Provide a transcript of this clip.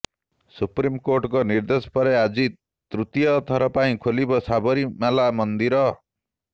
ସୁପ୍ରିମକୋର୍ଟଙ୍କ ନିର୍ଦ୍ଦେଶ ପରେ ଆଜି ତୃତୀୟ ଥର ପାଇଁ ଖୋଲିବ ସାବରୀମାଲା ମନ୍ଦିର